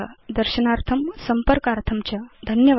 दर्शनार्थं संपर्कार्थं च धन्यवादा